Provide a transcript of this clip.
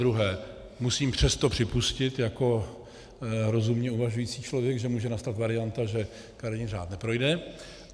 Zadruhé musím přesto připustit jako rozumně uvažující člověk, že může nastat varianta, že kariérní řád neprojde.